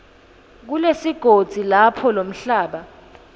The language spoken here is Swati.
kulesigodzi lapho lomhlaba